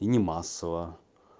и не массово